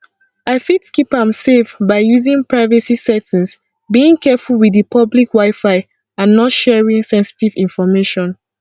i fit keep am safe by using privacy settings being careful with di public wifi and not sharing senstive information